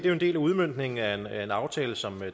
en del af udmøntningen af en aftale som